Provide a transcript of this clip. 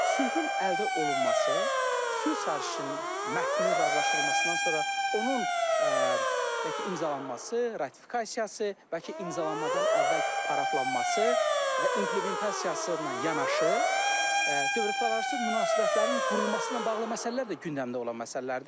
Sülhün əldə olunması, sülh sarışının mətnin razılaşdırılmasından sonra onun, demək ki, imzalanması, ratifikasiyası, bəlkə imzalanmadan əvvəl paraflanması və implementasiyası ilə yanaşı, dövlətlərarası münasibətlərin qurulması ilə bağlı məsələlər də gündəmdə olan məsələlərdir.